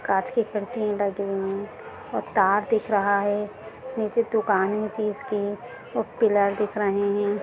कांच की खिड़की लगी हुई और तार दिख रहा है नीचे दुकान है चीज़ की और पिलर दिख रहे हैं।